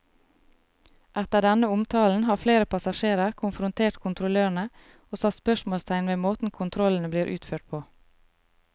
Etter denne omtalen har flere passasjerer konfrontert kontrollørene og satt spørsmålstegn ved måten kontrollene blir utført på.